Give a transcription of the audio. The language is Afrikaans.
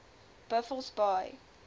buffelsbaai